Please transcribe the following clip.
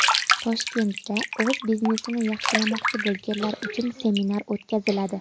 Toshkentda o‘z biznesini yaxshilamoqchi bo‘lganlar uchun seminar o‘tkaziladi.